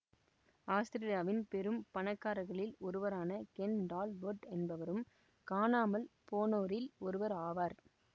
ஆஸ்திரேலியாவின் பெரும் பணக்காரர்களில் ஒருவரான கென் டால்பொட் என்பவரும் காணாமல் போனோரில் ஒருவர் ஆவார்